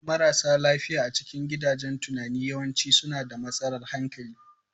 Marasa lafiya a cikin gidajen tunani yawanci suna da matsalar hankali.